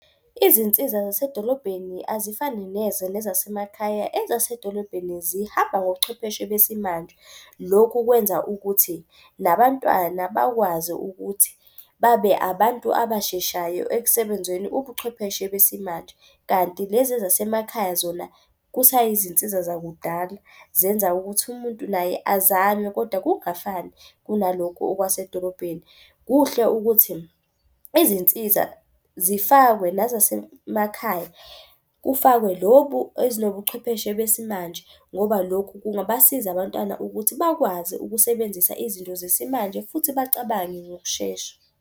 Izinsiza zasedolobheni azifani neze nezasemakhaya ezasedolobheni zihamba ngobuchwepheshe besimanje. Lokhu kwenza ukuthi nabantwana bakwazi ukuthi babe abantu abasheshayo ekusebenzeni ubuchwepheshe besimanje. Kanti lezi ezasemakhaya zona kusayizinsiza zakudala. Zenza ukuthi umuntu naye azame kodwa kungafani kunaloku okwasedolobheni. Kuhle ukuthi izinsiza zifakwe nazasemakhaya, kufakwe lobu ezinobuchwepheshe besimanje. Ngoba lokhu kungabasiza abantwana ukuthi bakwazi ukusebenzisa izinto zesimanje futhi bacabange ngokushesha.